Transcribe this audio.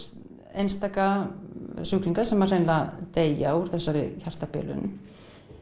einstaka sjúklingar sem hreinlega deyja úr þessari hjartabilun